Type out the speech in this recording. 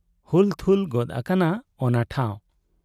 ᱦᱩᱞᱛᱷᱩᱞ ᱜᱚᱫ ᱟᱠᱟᱱᱟ ᱚᱱᱟ ᱴᱷᱟᱶ ᱾